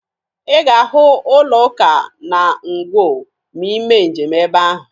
Ị ga-ahụ ụlọụka na Ngwo ma ị mee njem ebe ahụ.